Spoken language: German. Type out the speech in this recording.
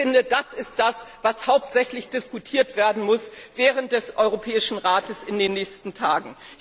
Ich finde, das ist das, was hauptsächlich diskutiert werden muss während des Europäischen Rates in den nächsten Tagen.